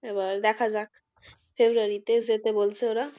এবার দেখা যাক february তে যেতে বলছে ওরা।